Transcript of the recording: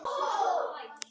Baldvin Elís Arason.